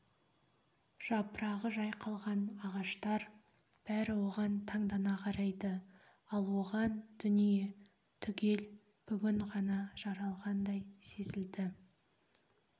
жапырағы жайқалған ағаштар бәрі оған таңдана қарайды ал оған дүние түгел бүгін ғана жаралғандай сезілді